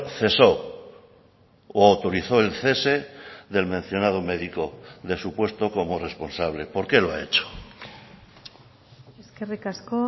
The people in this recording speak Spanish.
cesó o autorizó el cese del mencionado médico de su puesto como responsable por qué lo ha hecho eskerrik asko